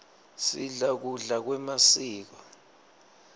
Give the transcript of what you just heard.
sidla kudla kwemasiko